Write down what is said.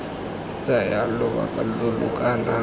tsaya lobaka lo lo kana